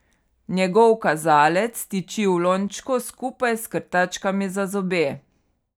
Njegov kazalec tiči v lončku skupaj s krtačkami za zobe.